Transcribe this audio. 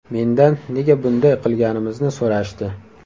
Mendan nega bunday qilganimizni so‘rashdi.